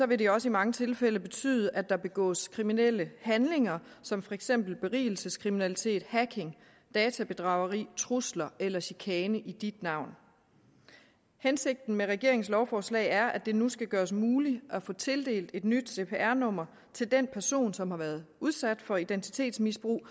vil det også i mange tilfælde betyde at der begås kriminelle handlinger som for eksempel berigelseskriminalitet hacking databedrageri trusler eller chikane i dit navn hensigten med regeringens lovforslag er at det nu skal gøres muligt at få tildelt et nyt cpr nummer til den person som har været udsat for identitetsmisbrug